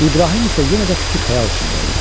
İbrahim isə yenə də fikir-xəyal içində idi.